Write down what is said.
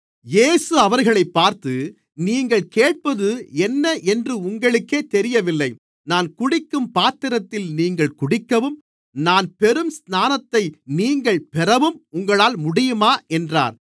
இயேசு அவர்களைப் பார்த்து நீங்கள் கேட்பது என்ன என்று உங்களுக்கே தெரியவில்லை நான் குடிக்கும் பாத்திரத்தில் நீங்கள் குடிக்கவும் நான் பெறும் ஸ்நானத்தை நீங்கள் பெறவும் உங்களால் முடியுமா என்றார்